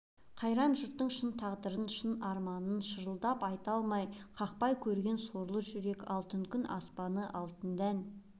қайран жұртының шын тағдырын шын арманын шырылдап айта алмай қақпай көрген сорлы жүрек алтын күн аспаны алтын дән